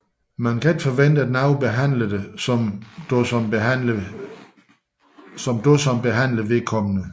Man kan ikke forvente nogen behandler dig som du som behandler vedkommende